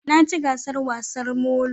Na ci gasar wasar molo